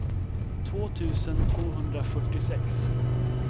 två tusen tvåhundrafyrtiosex